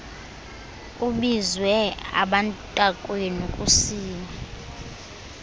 kubizwe abantakwenu kusiwe